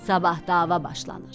Sabah dava başlanır.